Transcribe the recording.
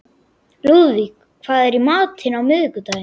Lúðvík, hvað er í matinn á miðvikudaginn?